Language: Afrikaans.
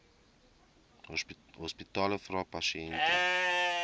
hospitale vra pasiënte